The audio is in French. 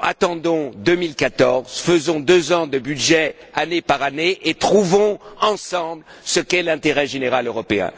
attendons 2014, faisons deux ans de budget année par année, et trouvons ensemble ce qu'est l'intérêt général européen.